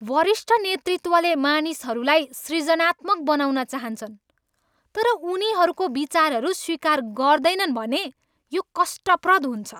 वरिष्ठ नेतृत्वले मानिसहरूलाई सृजनात्मक बनाउन चाहन्छन् तर उनीहरूको विचारहरू स्वीकार गर्दैनन् भने यो कष्टप्रद हुन्छ।